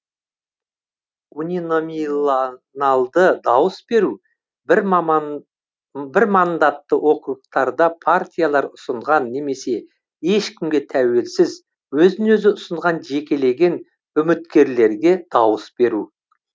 униномиланалды дауыс беру бірмандатты округтарда партиялар ұсынған немесе ешкімге тәуелсіз өзін өзі ұсынған жекелеген ұміткерлерге дауыс беру